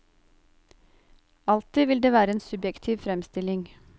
Alltid vil det være en subjektiv fremstilling.